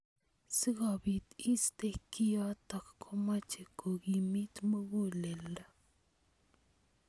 Sikobit iiste kiotok komeche kokimit muguleldo.